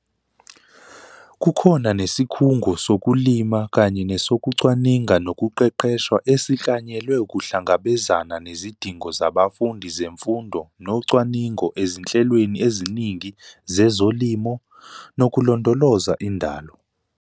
Kukhona nesikhungu sokulima kanye nesokucwaninga nokuqeqesha esiklanyelwe ukuhlangabezana nezidingo zabafundi zemfundo nocwaningo ezinhlelweni eziningi zezolimo, nokolondoloza indalo.